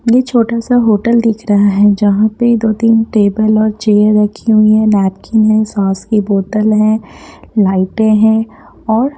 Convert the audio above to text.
ये छोटा सा होटल दिख रहा है जहाँ पे दो तीन टेबल और चेयर रखी हुई है नैपकिन है सॉस की बोतल है लाइटें हैं और --